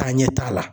Taa ɲɛ t'a la